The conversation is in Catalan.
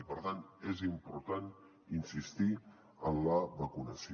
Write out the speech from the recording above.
i per tant és important insistir en la vacunació